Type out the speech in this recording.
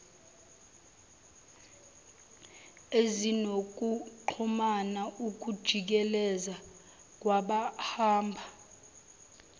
ezinokuxhumana ukujikeleza kwabahamba